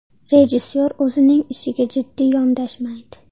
Rejissor o‘zining ishiga jiddiy yondashmaydi.